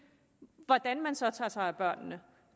hvordan man så tager sig af børnene